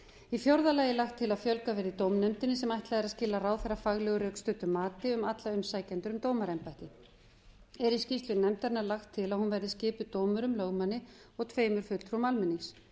í fjórða lagi er lagt til að fjölgað verði í dómnefndin sem ætlað er að skila ráðherra faglegu og rökstuddu mati um alla umsækjendur um dómaraembætti er í skýrslu nefndarinnar lagt til að hún verði skipuð dómurum lögmanni og tveimur fulltrúum almennings